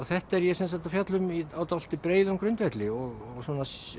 þetta er ég að fjalla um á dálítið breiðum grundvelli og svona